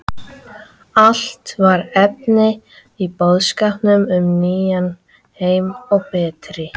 Allt var efni í boðskap um nýjan heim og betri